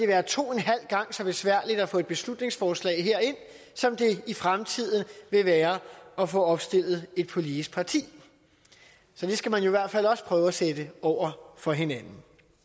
være to en halv gang så besværligt at få et beslutningsforslag herind som det i fremtiden vil være at få opstillet et politisk parti så det skal man i hvert fald også prøve at sætte over for hinanden